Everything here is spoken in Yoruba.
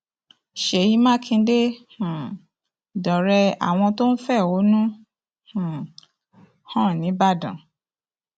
ṣèyí mákindé um dọ̀rẹ́ àwọn tó ń fẹ̀hónú um hàn nígbàdàn